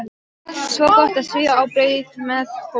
Svo gott að svífa á braut með fóstru.